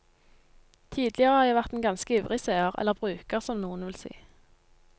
Tidligere har jeg vært en ganske ivrig seer, eller bruker som noen vil si.